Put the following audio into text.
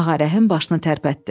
Ağa Rəhim başını tərpətdi.